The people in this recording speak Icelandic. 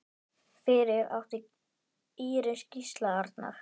Fyrir átti Íris Gísla Arnar.